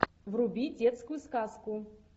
вруби детскую сказку